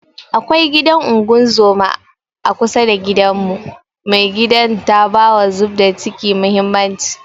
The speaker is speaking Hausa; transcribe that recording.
Akwai gidan unguzuma a kusa da gidanmu, mai gidan ta bawa zubda kici mahimmanci